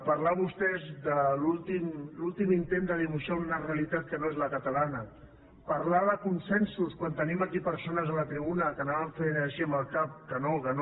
parlar vostès de l’últim intent de dibuixar una realitat que no és la catalana parlar de consensos quan tenim aquí persones a la tribuna que anaven fent així amb el cap que no que no